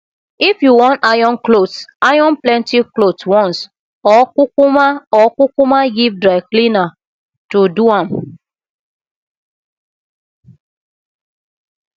if yu wan iron clothes iron plenty clothes once or kukuma or kukuma give dry cleaner to do am